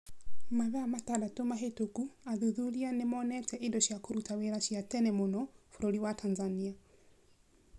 Mathaa matandatũ mahĩtũku athuthuria nĩ monete indo cia kũruta wĩra cia tene mũno bũrũri wa Tanzania.